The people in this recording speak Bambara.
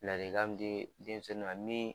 Ladilikan min di denmisɛnw ma min